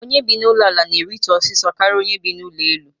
Onye bi na ụlọ ala na eritu osiso karịa onye bi na ụlọ elu